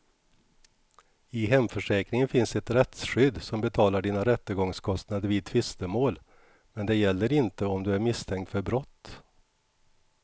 I hemförsäkringen finns ett rättsskydd som betalar dina rättegångskostnader vid tvistemål, men det gäller inte om du är misstänkt för brott.